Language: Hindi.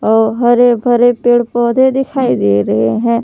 और हरे भरे पेड़ पौधे दिखाई दे रहे हैं।